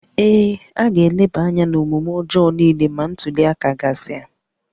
Ee, a ga-eleba anya n'omume ọjọọ niile na ntuli aka